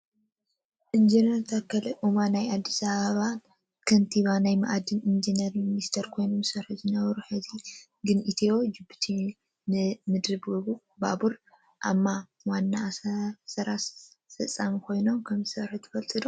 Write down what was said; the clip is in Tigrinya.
ኢንጅነር ታከለ ኡማ ናይ ኣዲስ ኣበባ ከንቲባን ናይ ማዕድንን ኢንጂነር ሚኒስተር ኮይኖም ዝሰርሑ ዝነበሩ፣ ሕዚ ግን ኢትዮ ጅቡቲ ምድር ባቡር አ.ማ ዋና ስራ ኣስፈፃሚ ኮይኖም ከምዝሰርሑ ዘለው ትፈልጡ ዶ?